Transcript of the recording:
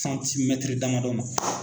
Santimɛtiri damadɔ ma